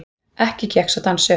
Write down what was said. Ekki gekk sá dans upp.